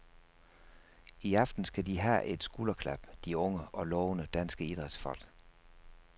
I aften skal de have et skulderklap, de unge og lovende danske idrætsfolk.